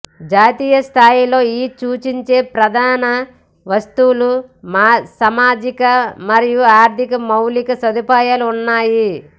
జాతీయ స్థాయిలో ఈ సూచించే ప్రధాన వస్తువు సామాజిక మరియు ఆర్థిక మౌలిక సదుపాయాల ఉన్నాయి